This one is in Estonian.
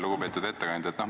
Lugupeetud ettekandja!